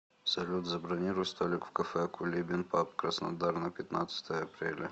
салют забронируй столик в кафе кулибин паб краснодар на пятнадцатое апреля